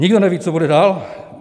Nikdo neví, co bude dál.